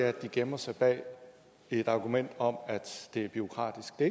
at de gemmer sig bag et argument om at det er bureaukratisk det